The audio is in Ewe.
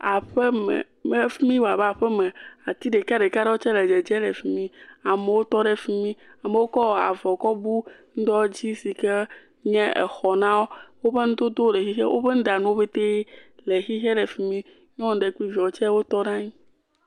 Aƒeme, afimi woa be aƒeme, ati ɖeka ɖeka ɖe wotae le dzedze le efimi, amewo tɔ ɖe efimi. Amewo kɔ avɔ kɔ bu ŋdɔ dzi sike nye exɔ nawo, wofe nudodo le xixe, woƒe nuɖanuwo ƒete le xixe le fimi. Nyunu ɖe kple viawo tse wotɔ ɖe anyi.